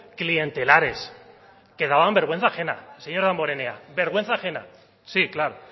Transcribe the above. clientelares que daban vergüenza ajena señor damborenea vergüenza ajena sí claro